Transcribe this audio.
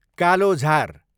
कालोझार